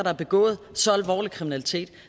har begået så alvorlig kriminalitet